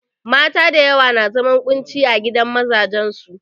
Mata da yawa na zaman ƙunci ciki a gidan mazajen su.